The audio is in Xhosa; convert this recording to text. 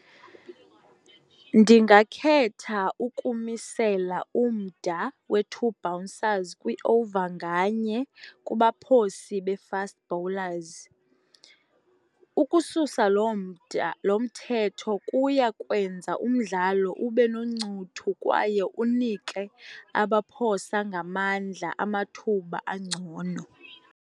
Ndingakhetha ukumisela umda we-two bouncers kwi-over nganye kubaphosi be-fast bowlers. Ukususa lo mda, lo mthetho kuya kwenza umdlalo ube noncuthu kwaye unike abaphosa ngamandla amathuba angcono.